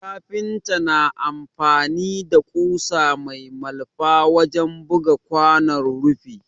Kafinta na amfani da ƙusa mai malfa wajen buga kwanon rufi